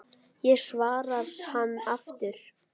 Já svarar hann aftur.